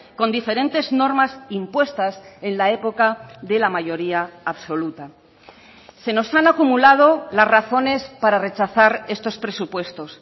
con diferentes normas impuestas en la época de la mayoría absoluta se nos han acumulado las razones para rechazar estos presupuestos